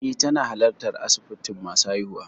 Eh, tana halartar asibitin masu haihuwa.